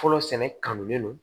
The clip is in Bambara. Fɔlɔ sɛnɛ kanu le don